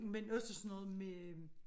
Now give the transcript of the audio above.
Men også sådan noget med